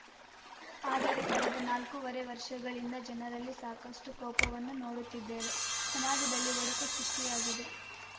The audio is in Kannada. ಆದರೆ ಕಳೆದ ನಾಲ್ಕೂವರೆ ವರ್ಷಗಳಿಂದ ಜನರಲ್ಲಿ ಸಾಕಷ್ಟುಕೋಪವನ್ನು ನೋಡುತ್ತಿದ್ದೇವೆ ಸಮಾಜದಲ್ಲಿ ಒಡಕು ಸೃಷ್ಟಿಯಾಗಿದೆ